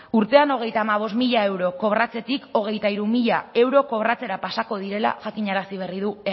urtean hogeita hamabost mila euro kobratzetik hogeita hiru mila euro kobratzera pasako direla jakinarazi berri du